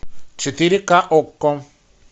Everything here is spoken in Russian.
четыре ка окко